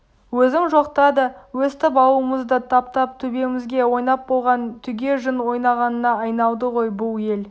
өзің жоқта да өстіп ауылымызды таптап төбемізге ойнап болған түге жын ойнағына айналды ғой бұл ел